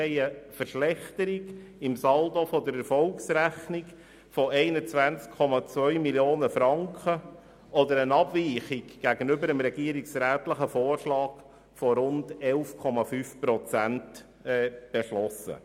Wir haben eine Verschlechterung im Saldo der Erfolgsrechnung von 21,2 Mio. Franken oder eine Abweichung gegenüber dem regierungsrätlichen Vorschlag von rund 11,5 Prozent beschlossen.